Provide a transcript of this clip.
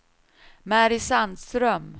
Mary Sandström